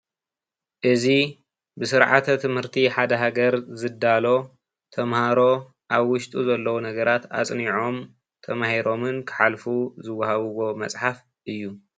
እዚ ብስርዓተ ትምህርቲ ሓደ ሃገር ዝዳሎ ተመሃሮ ኣብ ውሽጡ ዘሎ ነገራት ኣፅኒዖም ተማሂሮምን ክሓልፉ ዝወሃብዎ መፅሓፍ እዩ፡፡